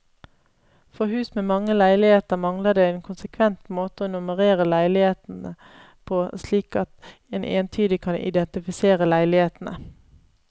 For hus med mange leiligheter mangler det en konsekvent måte å nummerere leilighetene på slik at en entydig kan identifisere leilighetene.